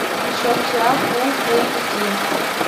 еще вчера фулл эйч ди